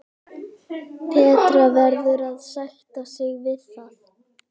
Petra verður að sætta sig við það.